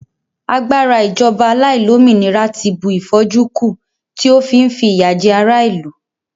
agbara ijoba aláìlómìnira ti bu if'oju ku, ti o fi n fi iya je ara ilu